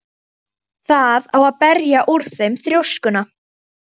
Það á að berja úr þeim þrjóskuna!